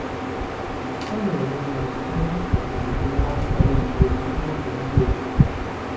A na-eme mmanụ site na ịtụpụ ude n'ọka oyibo jiri ụzọ ndị obodo.